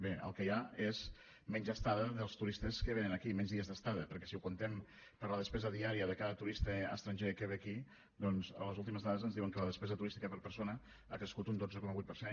bé el que hi ha és menys estada dels turistes que venen aquí menys dies d’estada perquè si ho comptem per la despesa diària de cada turista estranger que ve aquí doncs les últimes dades ens diuen que la despesa turística per persona ha crescut un dotze coma vuit per cent